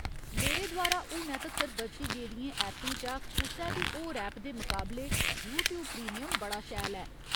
मेरे द्वारा हुनै तक्कर बरती गेदियें ऐपें चा कुसै बी होर ऐप दे मकाबले यूट्यूब प्रीमियम बड़ा शैल ऐ।